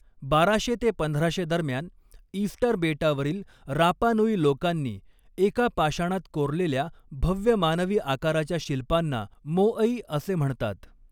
बाराशे ते पंधराशे दरम्यान ईस्टर बेटावरील रापा नुई लोकांनी एका पाषाणात कोरलेल्या भव्य मानवी आकाराच्या शिल्पांना मोअई असे म्हणतात.